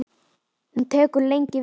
Hún tekur lengi við.